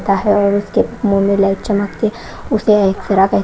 का है और उसके मुंह में लाइट चमकती है उसे एक्सरा कह--